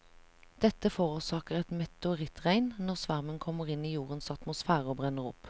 Dette forårsaker et meteorittregn når svermen kommer inn i jordens atmosfære og brenner opp.